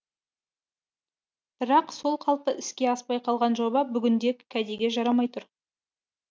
бірақ сол қалпы іске аспай қалған жоба бүгінде кәдеге жарамай тұр